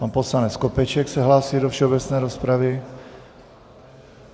Pan poslanec Skopeček se hlásí do všeobecné rozpravy.